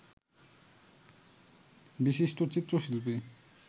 বিশিষ্ট চিত্রশিল্পী